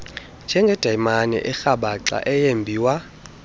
njengedayimani erhabaxa eyembiwa